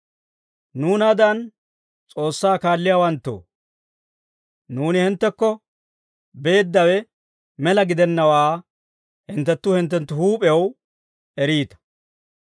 Nuunaadan S'oossaa kaalliyaawanttoo, nuuni hinttekko beeddawe mela gidennawaa hinttenttu hinttenttu huup'ew eriita.